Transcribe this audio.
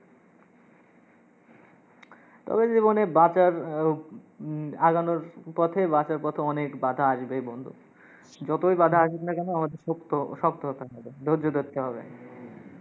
তবে জীবনে বাঁচার আহ উম আগানোর পথে, বাঁচার পথে অনেক বাঁধা আসবেই বন্ধু। তোই বাঁধা আসুক না কেন, আমাদের পোক্ত, শক্ত হতে হবে, ধৈর্য ধরতে হবে।